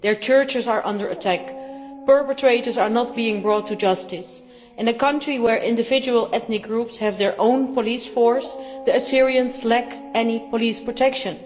Their churches are under attack and perpetrators are not being brought to justice. In a country where individual ethnic groups have their own police force, the Assyrians lack any police protection.